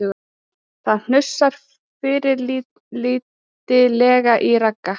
Það hnussar fyrirlitlega í Ragga